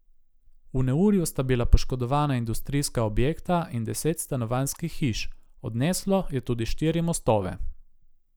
V neurju sta bila poškodovana industrijska objekta in deset stanovanjskih hiš, odneslo je tudi štiri mostove.